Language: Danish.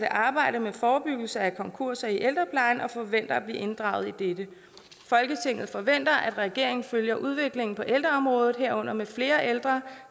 arbejde med forebyggelse af konkurser i ældreplejen og forventer at blive inddraget i dette folketinget forventer at regeringen følger udviklingen på ældreområdet herunder med flere ældre